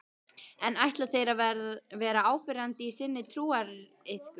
En ætla þeir að vera áberandi í sinni trúariðkun?